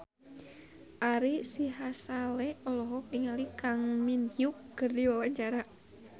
Ari Sihasale olohok ningali Kang Min Hyuk keur diwawancara